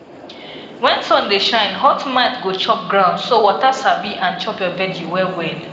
when sun dey shine hot mite go chop ground so water sabi and check your veggie well well